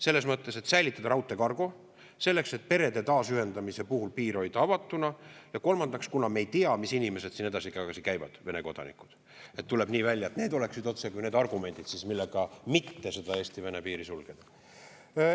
Selles mõttes, et säilitada raudteekargo, selleks et perede taasühendamiseks piir hoida avatuna, ja kolmandaks, kuna me ei tea, mis inimesed siin edasi-tagasi käivad, Vene kodanikud – tuleb nii välja, et need oleksid otsekui need argumendid, mille pärast mitte seda Eesti-Vene piiri sulgeda.